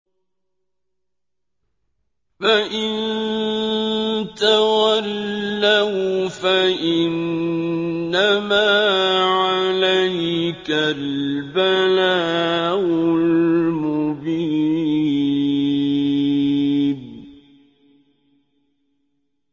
فَإِن تَوَلَّوْا فَإِنَّمَا عَلَيْكَ الْبَلَاغُ الْمُبِينُ